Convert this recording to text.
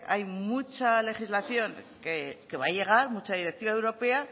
hay mucha legislación que va a llegar mucha directiva europea